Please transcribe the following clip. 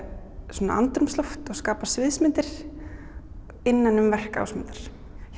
svona andrúmsloft og skapa sviðsmyndir innan um verk Ásmundar